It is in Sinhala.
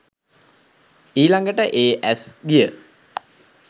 ඊළඟට ඒ ඇස් ගිය